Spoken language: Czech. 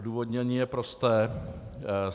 Odůvodnění je prosté.